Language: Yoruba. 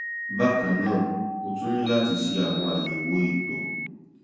bákan náà o tún ní láti ṣe àwọn àyẹ̀wò ìtọ̀